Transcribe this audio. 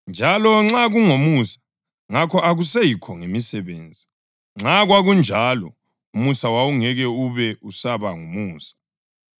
Njalo nxa kungomusa, ngakho akuseyikho ngemisebenzi; nxa kwakunjalo, umusa wawungeke ube usaba ngumusa.